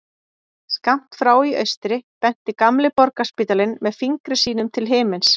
Skammt frá í austri benti gamli Borgarspítalinn með fingri sínum til himins.